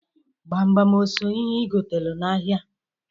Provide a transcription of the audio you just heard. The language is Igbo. Gbamgbam o so n'ihe i gotalụ n'ahịa?